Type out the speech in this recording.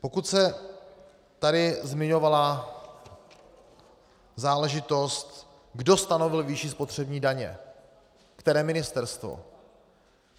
Pokud se tady zmiňovala záležitost, kdo stanovil výši spotřební daně, které ministerstvo.